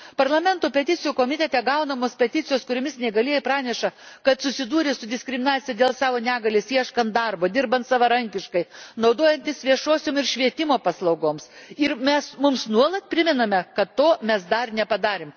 Parlamento Peticijų komitete gaunamos peticijos, kuriomis neįgalieji praneša, kad susidūrė su diskriminacija dėl savo negalios ieškodami darbo, dirbdami savarankiškai, naudodamiesi viešosiomis ir švietimo paslaugomis, mums nuolat primena, kad to mes dar nepadarėme.